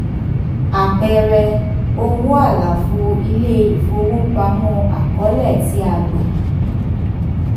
àpẹẹrẹ: owó àlàfo ilé ìfowópamọ́ àkọọ́lẹ̀ tí a gbà.